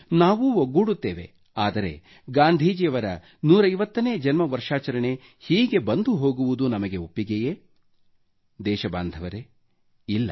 ನಾವೂ ಒಗ್ಗೂಡುತ್ತೇವೆ ಆದರೆ ಗಾಂಧೀಜಿಯ 150 ನೇ ಜನ್ಮ ವರ್ಷಾಚರಣೆ ಹೀಗೆ ಬಂದು ಹೋಗುವುದು ನಮಗೆ ಒಪ್ಪಿಗೆಯೇ ದೇಶಬಾಂಧವರೇ ಇಲ್ಲ